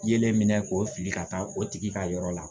Yelen minɛ k'o fili ka taa o tigi ka yɔrɔ la